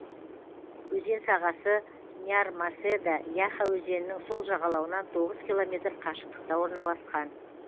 өзен сағасы нярмаседа яха өзенінің сол жағалауынан тоғыз километр қашықтықта орналасқан